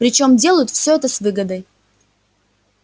причём делают все это с выгодой